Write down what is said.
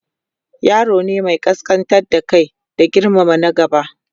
yaro ne Mai kaskantar da Kai da girmama na gaba